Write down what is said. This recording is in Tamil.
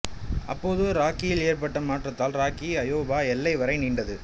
அப்போது ராக்கியில் ஏற்பட்ட மாற்றத்தால் ராக்கி அயோவா எல்லை வரை நீண்டது